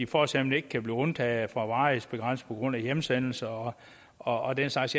for eksempel ikke kan blive undtaget fra varighedsbegrænsning på grund af hjemsendelse og og den slags